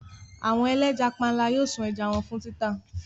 Àwọn ẹlẹ́ja panla yóò sun ẹja wọn fún títà.